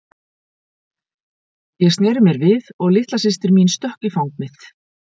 Ég sneri mér við og litla systir mín stökk í fang mitt.